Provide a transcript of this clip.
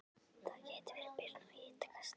Það gæti verið byrjun á hitakasti